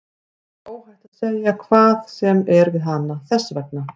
Þér er óhætt að segja hvað sem er við hana, þess vegna.